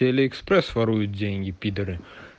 аллиекспрес ворует деньги пидоры